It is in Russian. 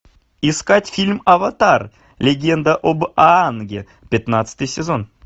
искать фильм аватар легенда об аанге пятнадцатый сезон